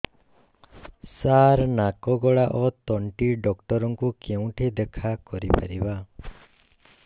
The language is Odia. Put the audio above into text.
ସାର ନାକ ଗଳା ଓ ତଣ୍ଟି ଡକ୍ଟର ଙ୍କୁ କେଉଁଠି ଦେଖା କରିପାରିବା